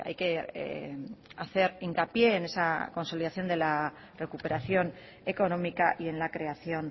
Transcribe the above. que hacer hincapié en esa consolidación de la recuperación económica y en la creación